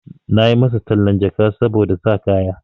Na yi masa tallan jaka saboda sa kaya.